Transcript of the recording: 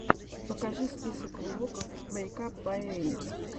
покажи список влогов мэйкап бай эллин